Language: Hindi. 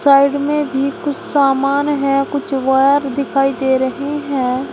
साइड में भी कुछ सामान है कुछ वायर दिखाई दे रहे हैं।